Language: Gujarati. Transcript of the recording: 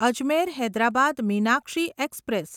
અજમેર હૈદરાબાદ મીનાક્ષી એક્સપ્રેસ